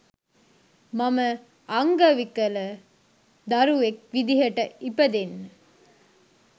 මම අංගවිකල දරුවෙක් විදිහට ඉපදෙන්න